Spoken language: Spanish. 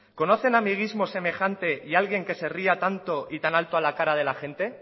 conocen amiguismo semejante y alguien que se ría tanto y tan alto a la cara de la gente